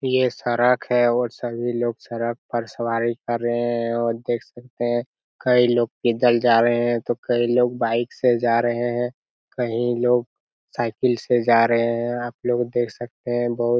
ये सड़क है और सभी लोग सड़क पर सवारी कर रहें हैं और देख सकते है कई लोग पैदल जा रहें हैं तो कई लोग बाईक से जा रहे हैं। कहीं लोग साइकिल से जा रहे हैं। आप लोग देख सकते हैं बहुत --